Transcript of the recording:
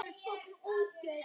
Hér er einum lýst.